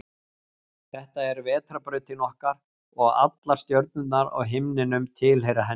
Þetta er Vetrarbrautin okkar og allar stjörnurnar á himninum tilheyra henni.